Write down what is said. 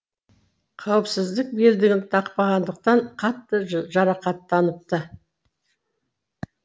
қауіпсіздік белдігін тақпағандықтан қатты жарақаттаныпты